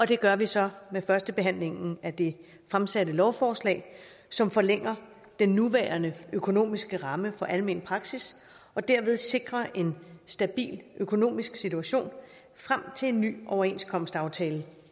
det gør vi så med førstebehandlingen af det fremsatte lovforslag som forlænger den nuværende økonomiske ramme for almen praksis og derved sikrer en stabil økonomisk situation frem til en ny overenskomstaftale